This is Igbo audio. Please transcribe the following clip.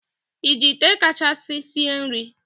i ji ite kachasi sie nri?